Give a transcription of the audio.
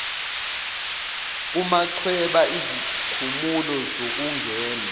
kumachweba izikhumulo zokungena